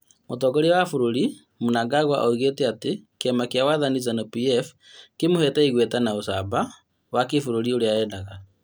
Mũtongoria wa bũrũri Mnangagwa oigĩte atĩ kĩama kĩa wathani Zanu-PF kĩmũhete igweta wa ucamba wa kĩbũrũri ũria arendaga